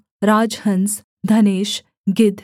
राजहँस धनेश गिद्ध